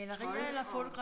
Tøj og